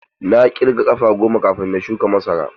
Na ƙirga ƙafa goma kafin na shuka masara.